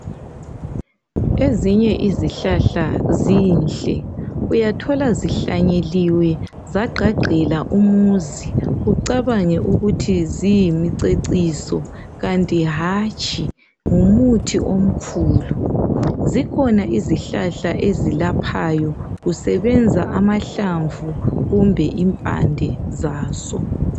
Ezinye izihlahla zinhle, uyathola zihlanyeliwe zagqagqela umuzi ucabange ukuthi ziyimiceciso kanti hatshi ngumuthi omkhulu. Zikhona izihlahla ezilaphayo kusebenza amahlamvu kumbe impande zazo.